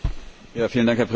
Herr Präsident!